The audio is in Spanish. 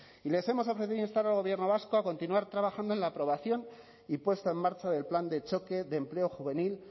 y les hemos ofrecido instar al gobierno vasco a continuar trabajando en la aprobación y puesta en marcha del plan de choque de empleo juvenil